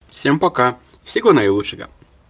всем пока всего наилучшего